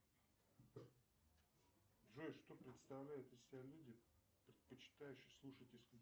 джой что представляют из себя люди предпочитающие слушать